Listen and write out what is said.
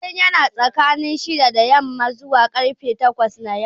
Kullum yana tsakanin shida da yamma zuwa karfe takwas na yamma